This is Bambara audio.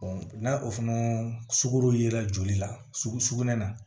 n'a o fana sukaro ye la joli la sugunɛ na